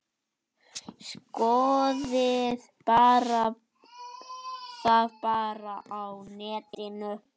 Skoðið það bara á netinu.